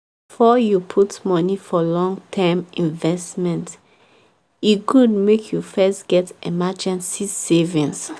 before you put money for long term investment e good make you first get emergency savings.